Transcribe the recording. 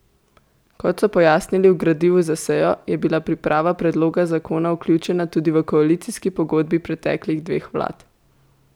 Kot so pojasnili v gradivu za sejo, je bila priprava predloga zakona vključena tudi v koalicijski pogodbi preteklih dveh vlad.